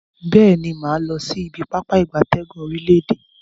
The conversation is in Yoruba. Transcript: Beeni, maa losi ibi Pápá ìgbatẹ́gùn orile-ede.